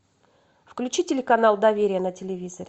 включи телеканал доверие на телевизоре